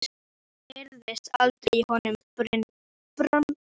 Það heyrðist aldrei í honum Brandi.